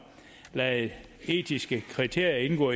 lade etiske kriterier indgå